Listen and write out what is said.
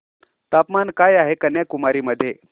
तापमान काय आहे कन्याकुमारी मध्ये